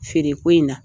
Feereko in na